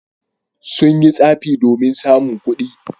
Sun yi tsafi domin samun kuɗi.